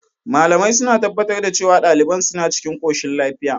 Malamai suna tabbatar da cewa daliban suna cikin koshin lafiya.